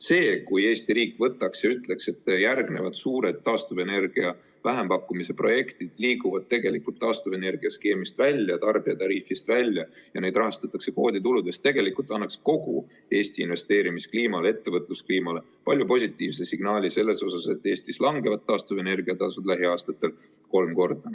See, kui Eesti riik võtaks ja ütleks, et järgnevad suured taastuvenergia vähempakkumise projektid liiguvad tegelikult taastuvenergiaskeemist välja, tarbijatariifist välja ja neid rahastatakse kvoodituludest, tegelikult annaks kogu Eesti investeerimiskliimale ja ettevõtluskliimale palju positiivsema signaali selles osas, et Eestis langevad taastuvenergia tasud lähiaastatel kolm korda.